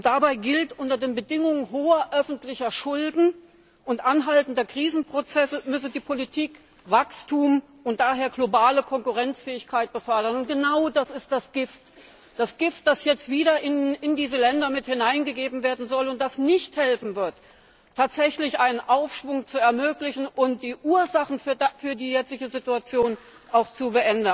Dabei gilt, unter den Bedingungen hoher öffentlicher Schulden und anhaltender Krisenprozesse müsse die Politik Wachstum und daher globale Konkurrenzfähigkeit fördern. Genau das ist das Gift, das jetzt wieder in diese Länder mit hineingegeben werden soll und das nicht helfen wird, tatsächlich einen Aufschwung zu ermöglichen und die Ursachen für die jetzige Situation auch zu